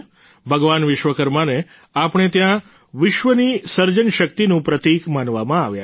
ભગવાન વિશ્વકર્માને આપણે ત્યાં વિશ્વની સર્જન શક્તિનું પ્રતિક માનવામાં આવ્યા છે